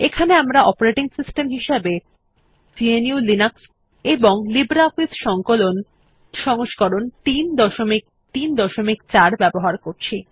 এখানে আমরা operating system হিসেবে গ্নু লিনাক্স এবং লিব্রিঅফিস সংকলন সংস্করণ 334 ব্যবহার করছি